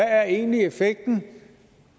er egentlig effekten